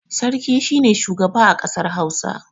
Sarki shi ne shugaba a kasar Hausa.